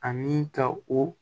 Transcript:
Ani ka o